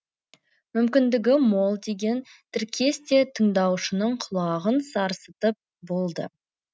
мүмкіндігі мол деген тіркес те тыңдаушының құлағын сарсытып болды